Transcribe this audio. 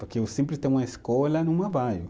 Porque eu sempre, tem uma escola.